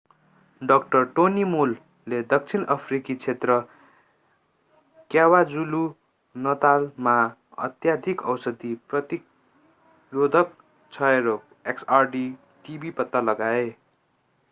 dr. tony moll ले दक्षिण अफ्रिकी क्षेत्र क्वाजुलु-नतालमा अत्यधिक औषधि प्रतिरोधक क्षयरोग xdr-tb पत्ता लगाए।